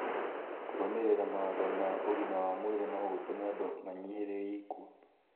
Kũrũmĩrĩra mawatho ma ũgima wa mwĩrĩ no gũtũme andũ manyihanyihĩrie ikuũ